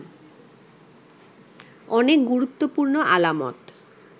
অনেক গুরুত্বপূর্ণ আলামত